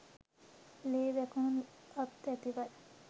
ලේ වැකුණු අත් ඇතිවයි